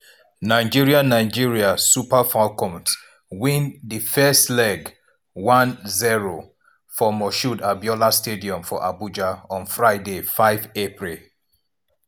nigeria nigeria super falcons win di first leg 1-0 for moshood abiola stadium for abuja on friday 5 april.